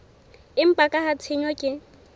empa ka ha tshenyo ke